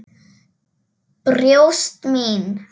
Brjóst mín.